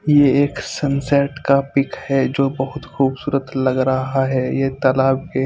ये एक सनसेट का पिक है जो बोहोत खुबसूरत लग रहा है एक तालब के --